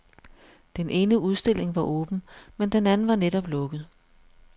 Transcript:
Den ene udstilling var åben, men den anden var netop lukket.